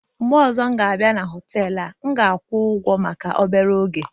mgbe ọzọ m ga-abịa na họtelu a, M ga-akwụ ụgwọ maka obere oge.